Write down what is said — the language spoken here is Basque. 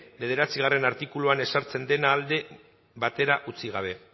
bederatzigarrena artikuluan ezartzen dena alde batera utzi gabe